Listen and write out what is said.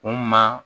Kun ma